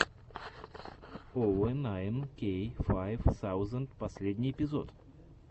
овэ найн кей файв саузенд последний эпизод